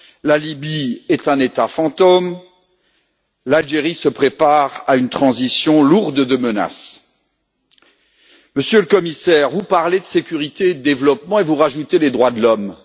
la Libye est un État fantôme, l'Algérie se prépare à une transition lourde de menaces. Monsieur le Commissaire, vous parlez de sécurité et de développement, et vous rajoutez les droits de l'homme.